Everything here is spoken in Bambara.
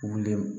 Wuli